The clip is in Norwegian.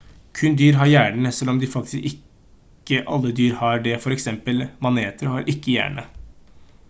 kun dyr har hjerne selv om faktisk ikke alle dyr har det f.eks. maneter har ikke hjerne